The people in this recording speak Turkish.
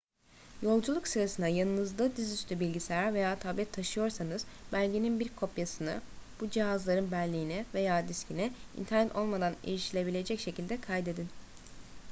yolculuk sırasında yanınızda dizüstü bilgisayar veya tablet taşıyorsanız belgenin bir kopyasını bu cihazların belleğine veya diskine internet olmadan erişilebilecek şekilde kaydedin